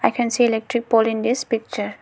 I can see electric pole in this picture.